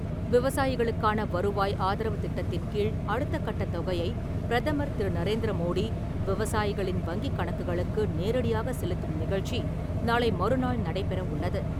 விவசாயிகளுக்கான வருவாய் ஆதரவு திட்டத்தின்கீழ் அடுத்தக்கட்ட தொகையை பிரதமர் திரு. நரேந்திர மோடி, விவசாயிகளின் வங்கிக் கணக்குகளுக்கு நேரடியாகச் செலுத்தும் நிகழ்ச்சி நாளை மறுநாள் நடைபெற உள்ளது.